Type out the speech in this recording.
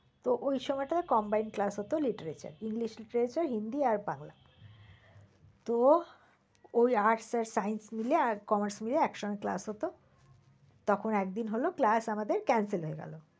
তো ওই সময়টা combined class হত literature, english literature হিন্দি আর বাংলা। তো ওই arts আর science মিলে আর commerce মিলে এক সঙ্গে class হত তখন এক দিন হলো class আমাদের cancel হয়ে গেল।